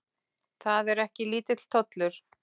Það er ekki lítill tollur.